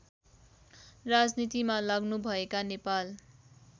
राजनीतिमा लाग्नुभएका नेपाल